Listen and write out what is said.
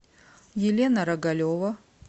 елена рогалева